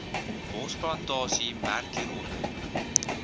bosplantasie merk hieronder